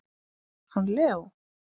Hann Leó?